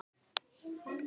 Sko